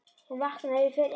Hún vaknar ef ég fer inn.